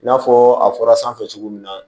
I n'a fɔ a fɔra sanfɛ cogo min na